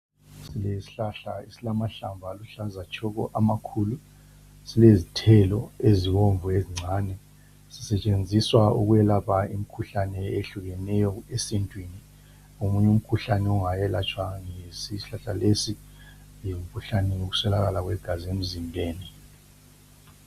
Isihlahla esilamahlamvu aluhlaza tshoko amakhulu. Silezithelo ezibomvu ezincane. Sisetshenziswa ukwelapha imikhuhlane eyehlukeneyo esintwini. Omunye umkhuhlane ongayelatshwa ngesihlahla lesi ngumkhuhlane wokuswelakala kwegazi emzimbeni.